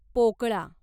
पोकळा